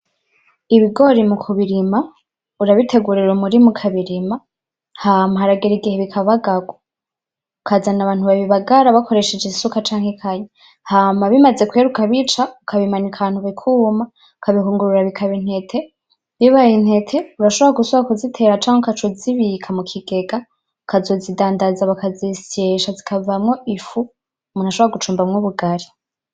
Ibigori mu kubirima urabitegurira umurima ukabirima, hama haragera igihe bikabagagwa, ukazana abantu babibagara bakoresheje isuka canke ikanya, hama bimaze kwera ukabica ukabimanika ahantu bikuma ukabihungurura bikaba intete, bibaye intete urashobora gusubira kuzitera canke ukazibika mu kigega ukazozidandaza bakazozisyesha bikavamwo ifu umuntu ashobora gucumbamwo ubugari.